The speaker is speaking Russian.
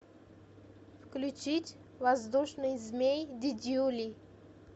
включить воздушный змей дидюли